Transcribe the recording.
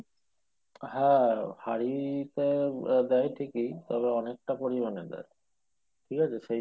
হ্যাঁ হাড়িতে দেয় ঠিকি তবে অনেকটা পরিমানে দেয় ঠিক আছে।